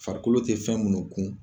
Farikolo t fɛn munu kun